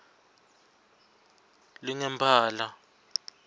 lingemphala